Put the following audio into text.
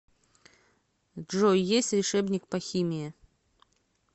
джой есть решебник по химии